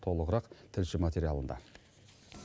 толығырақ тілші материалында